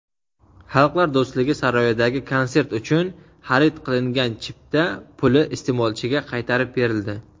"Xalqlar do‘stligi" saroyidagi konsert uchun xarid qilingan chipta puli iste’molchiga qaytarib berildi.